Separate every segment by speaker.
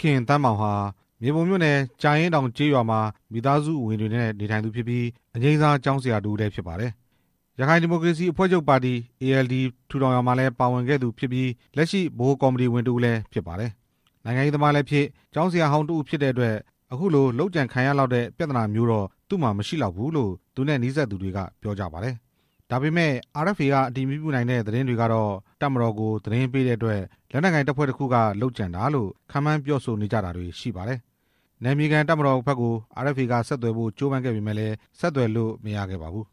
Speaker 1: ခင်သန်းမောင်ဟာ မြေပုံမြို့နယ် ကြာအင်းတောင်ကျေးရွာမှာ မိသားစုဝင်တွေနဲ့နေထိုင်သူဖြစ်ပြီး အငြိမ်းစားကျောင်းဆရာ တစ်ဦးလည်း ဖြစ်ပါတယ်။ ရခိုင်ဒီမိုကရေစီအဖွဲ့ချုပ်ပါတီ ALD ထူထောင်ရာမှာလည်း ပါဝင်ခဲ့သူဖြစ်ပြီး လက်ရှိဗဟိုကော်မတီဝင် တစ်ဦးလည်းဖြစ်ပါတယ်။ နိုင်ငံရေးသမားလည်းဖြစ် ကျောင်းဆရာဟောင်း တစ်ဦးဖြစ်တဲ့အတွက် အခုလိုလုပ်ကြံရလောက်တဲ့ ပြဿနာမျိုးတော့ သူ့မှာမရှိလောက်ဘူးလို့ သူနဲ့နီးစပ်သူတွေက ပြောကြပါတယ်။ ဒါပေမဲ့ RFA က အတည်မပြုနိုင်တဲ့ သတင်းတွေကတော့ တပ်မတော်ကိုသတင်းပေးတဲ့အတွက် လက်နက်ကိုင်တပ်ဖွဲ့တစ်ခုက လုပ်ကြံတာလို့ ခန့်မှန်းပြောဆိုတာတွေ ရှိပါတယ်။ နယ်မြေခံတပ်မတော်ဘက်ကို RFA က ဆက်သွယ်ဖို့ကြိုးပမ်းခဲ့ပေမယ့်လည်း ဆက်သွယ်လို့ မရခဲ့ပါဘူး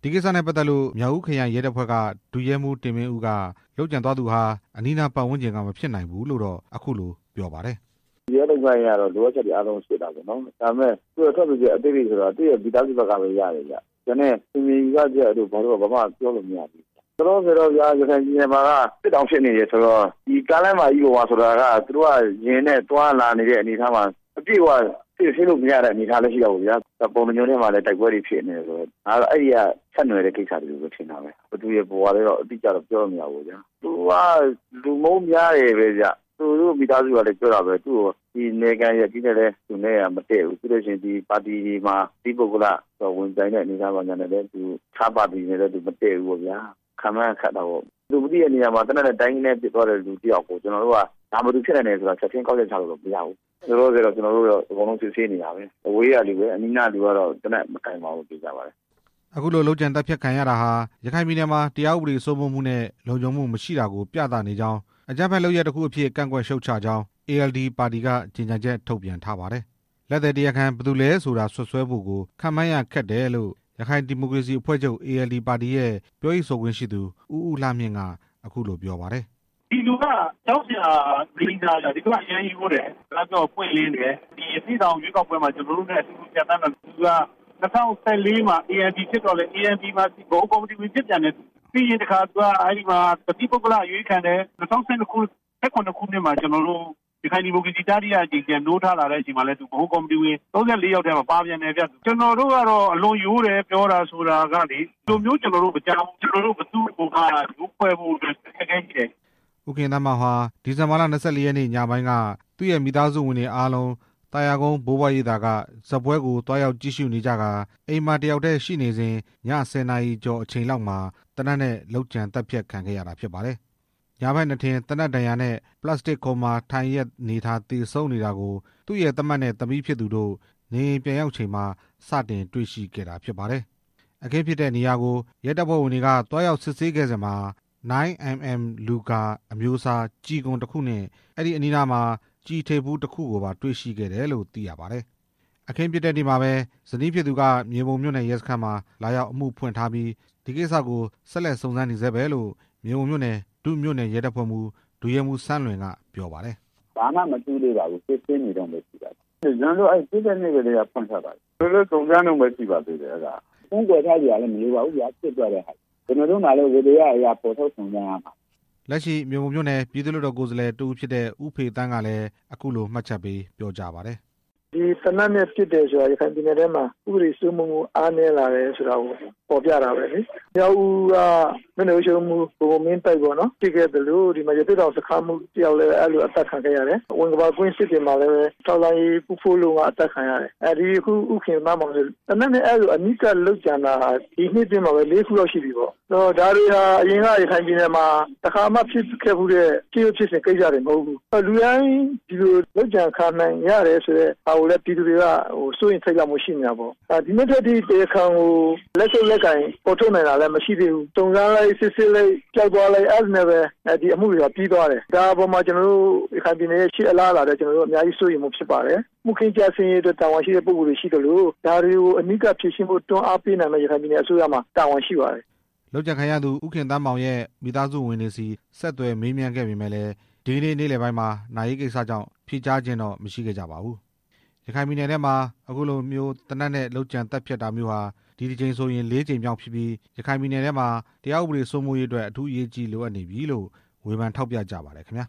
Speaker 1: ။ ဒီကိစ္စနဲ့ပတ်သက်လို့ မြောက်ဦးခရိုင်ရဲတပ်ဖွဲ့က ဒု-ရဲမှူး တင်မင်းဦးက လုပ်ကြံသွားသူဟာ အနီးနား ပတ်ဝန်းကျင်က မဖြစ်နိုင်ဘူးလို့တော့ အခုလို ပြောပါတယ်
Speaker 2: ။ "ရဲလုပ်ငန်းအရတော့ လိုအပ်တဲ့ဟာအားလုံးကို စစ်တာပေါ့နော်၊ ဒါပေမဲ့ ထွက်ဆိုချက် အသေးစိတ်ဆိုတာက သူ့ရဲ့မိသားစုဆီကပဲရတယ်ဗျ၊ ကျန်တဲ့ထင်မြင်ယူဆချက်တွေက ဘာမှပြောလို့မရသေးဘူးဗျ ၊ လောလောဆယ်ရခိုင်ပြည်နယ်မှာ စစ်တောင်ဖြစ်နေပြီဆိုတော့ ဒီကားလမ်းမကြီးပေါ်မှာ သူတို့က သွားလာနေတော့ အပြည့်အဝ စစ်ဆေးလို့မရသေးတာလည်း ရှိတာပေါ့ဗျာ၊ ပုဏ္ဏားကျွန်းမှာလည်း တိုက်ပွဲတွေဖြစ်နေတာဆိုတော့ အဲဒီကဆက်နွယ်တဲ့ကိစ္စလို့ ထင်တာပဲ ၊ ဘယ်သူရယ်ဘယ်ဝါရယ်လို့ အတိအကျပြောလို့ မရသေးဘူးပေါ့၊ သူက လူမုန်းများတယ်ဗျ၊ သူတို့မိသားစုကလည်းပြောတာပဲ သူ့ကို နယ်ခံရပ်ကျေးန့ဲလည်း မတည့်ဘူး၊ ပါတီတွေမှာ တစ်သီးပုဂ္ဂလ ဝင်ပြိုင်တဲ့အနေအထားမှာ တစ်ခြားပါတီတွေနဲ့လည်း မတည့်ဘူးပေါ့၊ ခန့်မှန်းရခက်တာပေါ့ ဘယ်သူလုပ်သလဲဆိုတာ လူမသိတဲ့နေရာမှာ သေနတ်နဲ့ ဒိုင်းကနဲပစ်သွားတဲ့ လူတစ်ယောက်ကို ဘယ်သူဖြစ်နိုင်တယ်ဆိုတာ ချက်ချင်းကောက်ချက်ချလို့တော့ မရနိုင်ဘူး၊ လောလောဆယ် ကျနော်တို့ အကုန်လုံးစစ်ဆေးနေတာပဲ၊ အဝေးကလူပါပဲ အနီးကလူကတော့ သေနတ်မကိုင်ပါဘူး သေချာပါတယ်
Speaker 1: " အခုလို လုပ်ကြံသတ်ဖြတ်ခံရတာဟာ ရခိုင်ပြည်နယ်မှာ တရားဥပဒေစိုးမိုးမှုနဲ့ လုံခြုံမှုမရှိတာကို ပြသနေကြောင်း၊ အကြမ်းဖက်လုပ်ရပ်တခုအဖြစ် ကန့်ကွက်ရှုတ်ချကြောင်း ALD ပါတီက ကြေညာချက် ထုတ်ပြန်ထားပါတယ်။ လက်သည်တရားခံ ဘယ်သူလဲဆိုတာ စွပ်စွဲဖို့ကို ခန့်မှန်းရခက်တယ်လို့ ရခိုင်ဒီမိုကရေစီအဖွဲ့ချုပ် ALD ပါတီရဲ့ ပြောရေးဆိုခွင့်ရှိသူ ဦးဦးလှမြင့်က ပြောပါတယ်။
Speaker 2: "ဒီလူက ကျောင်းဆရာအငြိမ်းစားဗျ၊ ဒီလူကအရမ်းရိုးတယ် စကားပြောရင်ပွင့်လင်းတယ်၊ ရသေ့တောင် ရွေးကောက်ပွဲမှာ ကျနော်တို့နဲ့အတူတူ ဖြတ်သန်းလာတာပဲ၊ ၂၀၁၄ မှာ ALP ဖြစ်တော့လဲ ဗဟိုကော်မတီဖြစ်လာတာပဲ ပြီးရင်သူက တစ်သီးပုဂ္ဂလအရွေးခံတယ် ၂၀၁၇ ခုနှစ် ရခိုင်ဒီမိုကရေစီ နိုးထလာတဲ့ အချိန်မှာလည်း သူက ဗဟိုကော်မတီဝင် ၃၄ ယောက်ထဲမှာ ပါပြန်တယ်ဗျ၊ ကျနော်တို့ကတော့ အလွန်ရိုးတယ် ပြောတာဆိုတာကလေ ဒီလိုမျိုးကျနော်တို့ မကြားဖူးဘူး၊ ကျနော်တို့ ဘယ်သူ့ကိုမှ ယိုးဖွဲ့ဖို့အတွက် အခက်အ
Speaker 1: ခဲရှိတယ်" ဦးခင်သန်းမောင်ဟာ ဒီဇင်ဘာလ ၂၄ ရက်နေ့ ညပိုင်းက သူ့ရဲ့မိသားစုဝင်တွေအားလုံး သာယာကုန်း ဘိုးဘွားရိပ်သာက ဇာတ်ပွဲကို သွားရောက်ကြည့်ရှုနေကြတာဖြစ်ပြီး အိမ်မှာတစ်ယောက်တည်းရှိနေစဉ် ည ၁၀ နာရီကျော်အချိန်လောက်မှာ သေနတ်နဲ့ လုပ်ကြံသတ်ဖြတ်ခံခဲ့ရတာဖြစ်ပါတယ်။ ယာဘက်နားထင် သေနတ်ဒဏ်ရာနဲ့ ပလက်စတစ်ခုံမှာ ထိုင်လျက်အနေအထား သေဆုံးနေတာကို သူ့ရဲ့သမက်နဲ့သမီးဖြစ်သူတို့ နေအိမ်ပြန်ရောက်ချိန်မှာ စတင်တွေ့ရှိခဲ့တာဖြစ်ပါတယ်။ အခင်းဖြစ်နေရာကို ရဲအရာရှိတွေ သွားရောက်စစ်ဆေးနေစဉ်မှာတော့ 9 mm Luger အမျိုးအစား ကျည်ခွံတစ်ခုနဲ့ အဲဒီအနီးမှာ ကျည်ထိပ်ဖူးတစ်ခုကိုပါ တွေ့ရှိခဲ့တယ်လို့ သိရပါတယ်။ အခင်းဖြစ်တဲ့နေ့မှာပဲ ဇနီးဖြစ်သူက မြေပုံမြို့နယ်ရဲစခန်းမှာ လာရောက်အမှုဖွင့်ထားပြီး ဆက်လက်စုံစမ်းနေဆဲပဲလို့ မြေပုံမြို့နယ် ဒုမြို့နယ်ရဲတပ်ဖွဲ့မှူး ဒု-ရဲမှူး စန်းလွင်က ပြောပါတယ်
Speaker 2: ။ "ဘာမှမသိသေးပါဘူး စစ်ဆေးနေတုန်းပဲ ရှိပါသေးတယ်၊ ကျနော်တို့ ဖြစ်တဲ့နေ့ကတည်းက အမှုဖွင့်ထားပါတယ်၊ ကျနော်တို့လည်း စုံစမ်းတုန်းပဲရှိပါသေးတယ်၊ ဖုံးကွယ်ထားစရာလည်း မရှိပါဘူးဗျာ ဖြစ်သွားတဲ့ဟာကို၊ ကျနော်တို့မှာလည်း ဝတ္တရားအရ ဖော်ထုတ်စုံစမ်းရ
Speaker 1: မှာပဲ" လက်ရှိမြေပုံမြို့နယ် ပြည်သူ့လွှတ်တော် ကိုယ်စားလှယ် ဦးဖေသန်းကလည်း အခုလို မှတ်ချက်ပေး ပြောကြားပါတယ်။
Speaker 3: "ဒီသေနတ်နဲ့ ပစ်တယ်ဆိုတာ ရခိုင်ပြည်နယ်ထဲမှာ ဥပဒေစိုးမိုးမှု အားနည်းလာတယ်ဆိုတာကို ဖော်ပြတာပဲလေ၊ မြောက်ဦးက မြို့နယ်အုပ်ချုပ်ရေးမှူး ဘိုဘိုမင်းသိုက် ဖြစ်ခဲ့သလို ရသေ့တောင်စခန်းမှူး တစ်ယောက်လည်း အဲလိုအသတ်ခံခဲ့ရတယ်၊ ဝင်္ကပါကွင်းစစ်တွေမှာလည်း ထောက်လှမ်းရေးက ဦးဖိုးလုံး အသတ်ခံရတယ်၊ ဒီအခု ဦးခင်သန်းမောင်ကလည်း သေနတ်နဲ့ အနီးကပ်လုပ်ကြံတာဟာ ဒီနှစ်အတွင်းမှာ ၄ ခုလောက်ရှိပြီပေါ့ ၊ ဒါတွေဟာ အရင်က ရခိုင်ပြည်နယ်မှာ တစ်ခါမှဖြစ်ခဲ့ဖူးတာ မဟုတ်ဘူး၊ လူတိုင်း ဒီလိုလုပ်ကြံခံရနိုင်တယ်ဆိုတာ ပြည်သူတွေ စိုးရိမ်ထိတ်လန့်နေတာပေါ့၊ ဒီနေ့ထက်ထိ တရားခံကို လက်ဆုပ်လက်ကိုင် ဖော်ထုတ်နိုင်တာမရှိသေးဘူး၊ စုံစမ်းလိုက် စစ်ဆေးလိုက် ပျောက်သွားလိုက်နဲ့ အမှုတွေကပြီးသွားတယ်၊ ရခိုင်ပြည်နယ်ရဲ့ ရှေ့အလားအလာ အများကြီးစိုးရိမ်မှုဖြစ်ပါတယ်၊ မှုခင်းကျဆင်းရေးအတွက် တာဝန်ရှိသူတွေရှိသလို ဒါတွေကို အနီးကပ်တွန်းအားပေး ဖြေရှင်းနိုင်ဖို့ ပြည်နယ်အစိုးရမှာ တာဝန်ရှိပါတယ်"
Speaker 1: လုပ်ကြံခံရသူ ဦးခင်သန်းမောင်ရဲ့ မိသားစုဝင်တွေဆီ ဆက်သွယ်မေးမြန်းခဲ့ပေမယ့်လည်း ဒီကနေ့ နေ့လယ်ပိုင်းမှာ နာရေးကိစ္စကြောင့် ဖြေကြားခြင်းတော့ မရှိခဲ့ကြပါဘူး။ ရခိုင်ပြည်နယ်ထဲမှာ အခုလိုမျိုး သေနတ်နဲ့ လုပ်ကြံသတ်ဖြတ်တာမျိုးဟာ အခုတစ်ကြိမ်နဲ့ဆိုရင် ၄ ကြိမ်မြောက်ဖြစ်ပြီး ရခိုင်ပြည်နယ်ထဲမှာ တရားဥပဒေစိုးမိုးရေးအတွက် အထူးအရေးကြီးလိုအပ်နေပြီလို့ ဝေဖန်ထောက်ပြကြပါတယ်ခင်ဗျာ